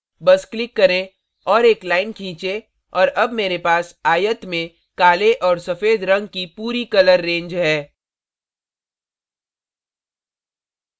बस click करें और एक line खींचें और अब मेरे पास आयत में काले और सफ़ेद range की पूरी colour range colour range है